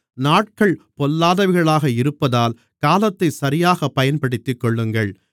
நாட்கள் பொல்லாதவைகளாக இருப்பதால் காலத்தைச் சரியாகப் பயன்படுத்திக்கொள்ளுங்கள்